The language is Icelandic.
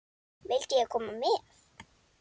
Vildi ég koma með?